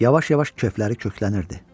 Yavaş-yavaş köfləri köklənirdi.